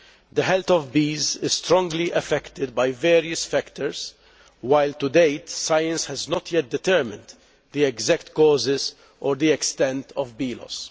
The health of bees is strongly affected by various factors while to date science has not yet determined the exact causes or the extent of bee loss.